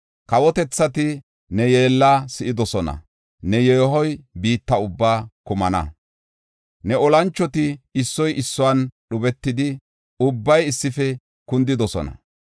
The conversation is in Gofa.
Kawotethati ne yeella si7idosona; ne yeehoy biitta ubbaa kumana. Ne olanchoti issoy issuwan dhubetidi, ubbay issife kundidosona.